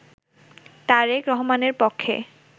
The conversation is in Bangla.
তারেক রহমানের পক্ষে